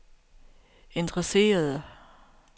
interesserede